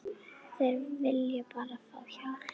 Þeir vilja bara fá hjálp.